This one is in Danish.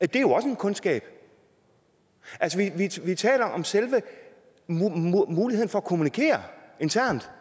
det er jo også en kundskab altså vi taler om selve muligheden for at kommunikere internt